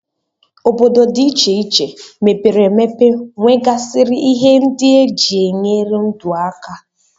Obodo dị iche iche mepere emepe nwegasịrị ihe ndị e ji enyere ndu aka